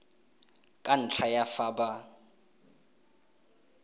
ka ntlha ya fa ba